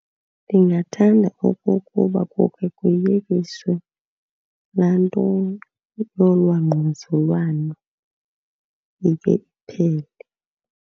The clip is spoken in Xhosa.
Ndingathanda okokuba kukhe kuyekiswe laa nto yolwaa ngquzulwano, ike iphele.